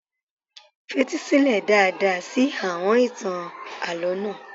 Fetí sílẹ̀ dáadáa sí àọn ìtàn alálọ̀ọ́ náà.